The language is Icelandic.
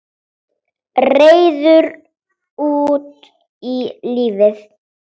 Reiður út í lífið.